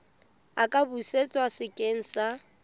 a ka busetswa sekeng sa